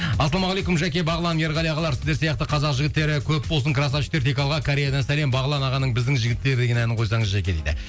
ассалаумағалейкум жәке бағлан ерғали ағалар сіздер сияқты қазақ жігіттері көп болсын красавчиктер тек алға кореядан сәлем бағлан ағаның біздің жігіттер деген әнін қойсаңыз жәке дейді